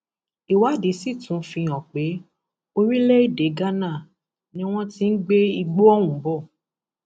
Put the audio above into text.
ìwádìí sì tún fihàn pé orílẹèdè ghana ni wọn ti ń gbé igbó ohùn bọ